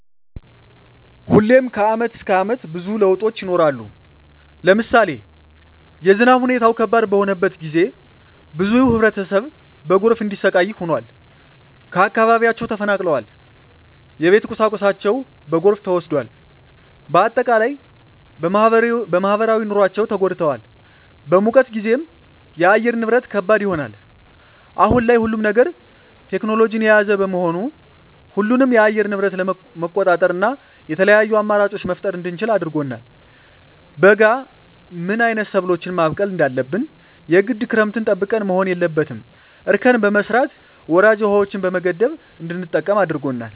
ሁሌም ከአመት እስከ አመት ብዙ ለውጦች ይኖራሉ። ለምሳሌ የዝናብ ሁኔታው ከባድ በሆነበት ጊዜ ብዙ ህብረተሰብ በጎርፍ እንዲሰቃይ ሆኗል። ከአካባቢያቸው ተፈናቅለዋል የቤት ቁሳቁሳቸው በጎርፍ ተወስዷል። በአጠቃላይ በማህበራዊ ኑሯቸው ተጎድተዋል። በሙቀት ጊዜም የአየር ንብረት ከባድ ይሆናል። አሁን ላይ ሁሉም ነገር ቴክኖሎጅን የያዘ በመሆኑ ሁሉንም የአየር ንብረት መቆጣጠር እና የተለያዪ አማራጮች መፍጠር እንድንችል አድርጎናል። በበጋ ምን አይነት ሰብሎችን ማብቀል እንዳለብን የግድ ክረምትን ጠብቀን መሆን የለበትም እርከን በመስራት ወራጅ ውሀዎችን በመገደብ እንድንጠቀም አድርጎናል።